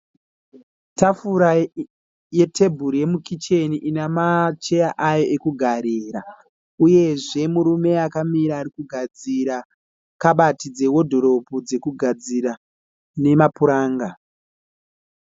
Tafura yetebhuru yemukicheni ina macheya ayo ekugarira uyezve murume akamira ari kugadzira kabati dzewodhiropu dzekugadzira nemapuranga.